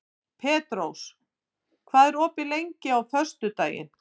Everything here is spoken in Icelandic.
Petrós, hvað er opið lengi á föstudaginn?